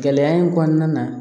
Gɛlɛya in kɔnɔna na